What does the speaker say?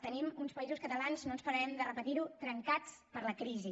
tenim uns països catalans no pararem de repetir ho trencats per la crisi